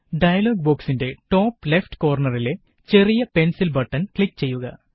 dialogue ബോക്സിന്റെ top left കോര്ണറിലെ ചെറിയ പെന്സില് ബട്ടണ് ക്ലിക് ചെയ്യുക